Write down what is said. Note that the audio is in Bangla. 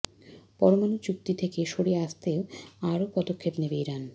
পরমাণু চুক্তি থেকে সরে আসতে আরও পদক্ষেপ নেবে ইরান